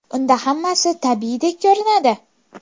Unda hammasi tabiiydek ko‘rinadi.